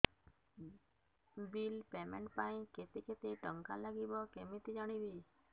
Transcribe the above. bill payment ପାଇଁ କେତେ କେତେ ଟଙ୍କା ଲାଗିବ କେମିତି ଜାଣିବି